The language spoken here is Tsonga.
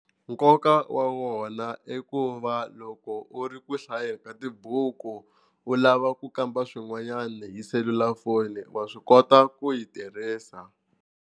Nkoka wa wona i ku va loko u ri ku hlayeni ka tibuku u lava ku kamba swin'wanyana hi selulafoni wa swi kota ku yi tirhisa.